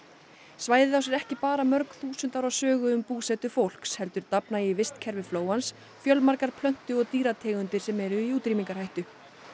svæðið á sér ekki bara mörg þúsund ára sögu um búsetu fólks heldur dafna í vistkerfi flóans fjölmargar plöntu og dýrategundir sem eru í útrýmingarhættu